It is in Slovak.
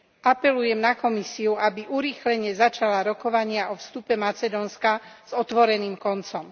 Apelujem na Komisiu, aby urýchlene začala rokovania o vstupe Macedónska s otvoreným koncom.